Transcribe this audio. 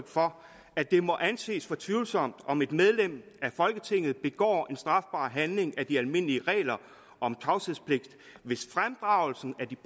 for at det må anses for tvivlsomt om et medlem af folketinget begår en strafbar handling til de almindelige regler om tavshedspligt hvis fremdragelsen af de